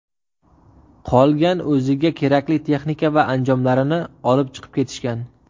Qolgan o‘ziga kerakli texnika va anjomlarini olib chiqib ketishgan.